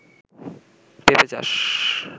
পেপে চাষ